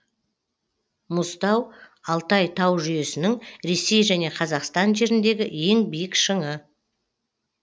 мұзтау алтай тау жүйесінің ресей және қазақстан жеріндегі ең биік шыңы